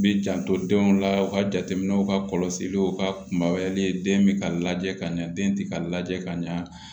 Bi janto denw la u ka jateminɛw ka kɔlɔsiliw ka kumabayali den bɛ ka lajɛ ka ɲɛ den tɛ ka lajɛ ka ɲɛ